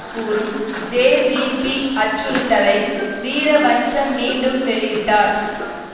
கூறும் ஜேவிபி அச்சுறுத்தலை வீரவன்ச மீண்டும் வெளியிட்டார்